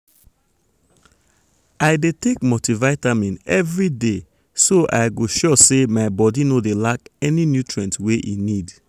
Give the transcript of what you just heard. i dey take multivitamin everyday so i so i go sure say my body no dey lack any nutrient e need.